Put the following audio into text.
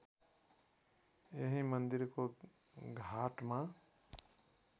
यही मन्दिरको घाटमा